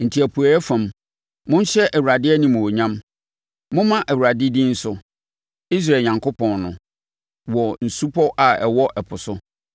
Enti apueeɛ fam, monhyɛ Awurade animuonyam; momma Awurade din so, Israel Onyankopɔn no, wɔ nsupɔ a ɛwɔ ɛpo so.